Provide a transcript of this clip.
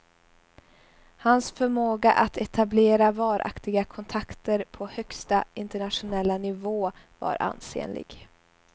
Hans förmåga att etablera varaktiga kontakter på högsta internationella nivå var ansenlig.